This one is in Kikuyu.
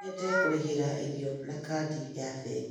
No nyende kũrĩhĩra irio na kadi ya bengi